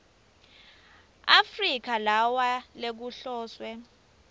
afrika lawa lekuhloswe